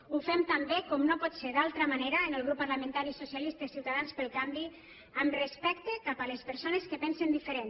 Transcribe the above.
ho fem també com no pot ser d’altra manera en el grup parlamentari socialistes ciutadans pel canvi amb respecte cap a les persones que pensen diferent